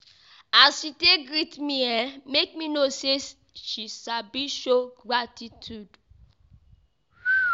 As she take greet me make me know sey she sabi show gratitude.